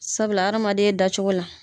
Sabula hadamaden dacogo la